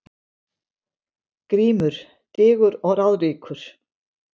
GRÍMUR: Digur og ráðríkur